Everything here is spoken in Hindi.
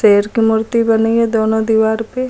शेर की मूर्ति बनी है दोनों दीवार पे।